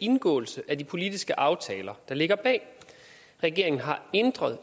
indgåelse af de politiske aftaler der ligger bag regeringen har